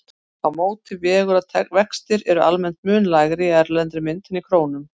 Á móti vegur að vextir eru almennt mun lægri í erlendri mynt en í krónum.